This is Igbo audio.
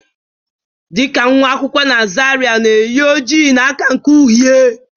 Dị ka nwa akwụkwọ na Zaria na-eyi oji na aka nke uhie